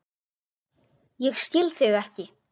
Ég skil þig ekki.